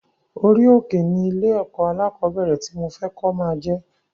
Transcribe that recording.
Orí òkè ni ilé ẹ̀kọ́ alákọ̀bẹ́rẹ̀ ti mo fẹ kó máa jẹ